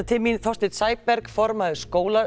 til mín Þorsteinn Sæberg formaður